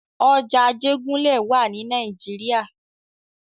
Ọjà Ajégúnlẹ̀ wà ní nàìjíría.